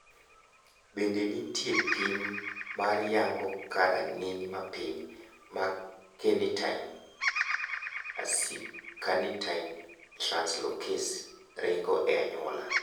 Bende nitiere pim mar yango ka rang`iny mapiny mar carnitine acylcarnitine translocase ringo e anyuola?